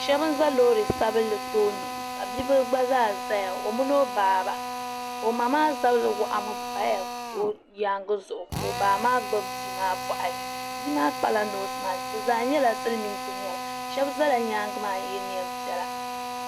shɛba n-za loori sabilinli tooni ka bibilifu gba zaa zaya o mini o ba o ma maa zabiri waɣimi m-paya o nyaaŋa zuɣu ka o ba maa gbubi bia maa bɔɣiri bia maa kpala noosi maisiki bɛ zaa nyɛla silimiinsi shɛba zala nyaaŋa maa nŋye neem piɛla